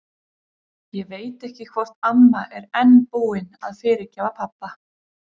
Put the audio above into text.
Ég veit ekki hvort amma er enn búin að fyrirgefa pabba.